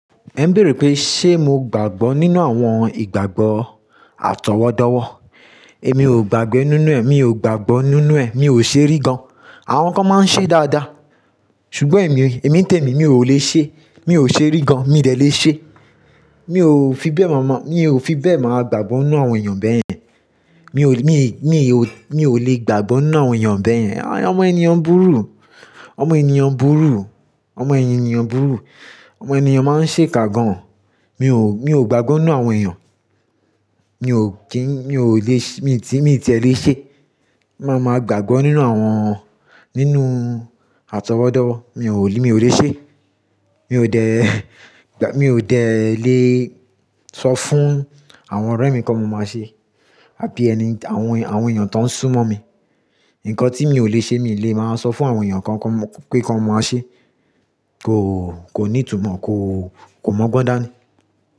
Èmi ń béèrè pé, ṣe mo gbàgbọ́ nínú àwọn ìgbàgbọ́ àtọwọ́dọ́wọ́? Èmi ò gbàgbé nínú ẹ̀, mi ò gbàgbọ́ nínú ẹ̀, mi ò ṣe rí gan. Àwọn kan máa ń ṣe dáadáa, ṣùgbọ́n èmi, èmi n tèmi, mi ò lè ṣe, mi ò ṣe rí gan, mi ò dẹ̀ lè ṣe. Mi ò fi bẹ́ mọ́ mọ́, mi ò fi bẹ́ máa gbàgbọ́ nínú àwọn èèyàn bẹ́yẹn. Mi ò lè, mi ò lè gbàgbọ́ nínú àwọn èèyàn bẹ́yẹn. Àwọn ènìyàn burú, àwọn ènìyàn burú, àwọn ènìyàn burú, àwọn ènìyàn máa ń ṣe kà gan. Mi ò, mi ò gbàgbọ́ nínú àwọn èèyàn. Mi ò kí n, mi ò lè ṣe, mi ti, mi ti ẹ lè ṣe. Máa máa gbàgbọ́ nínú àwọn, nínú àtọwọ́dọ́, mi ò lè, mi ò lè ṣe. Mi ò dẹ̀, mi ò dẹ̀ lè sọ fún àwọn ọ̀rẹ́ mi kí wọn máa ṣe àbí ẹni, àwọn, àwọn èèyàn tó ń súnmọ́ mi. Ǹnkan tí mi ò lè ṣe mi lè máa sọ fún àwọn èèyàn kan pé kí wọn máa ṣe. Kò, kò ní ìtumọ̀, kò, kò mọ́gbọ́n dáa ni.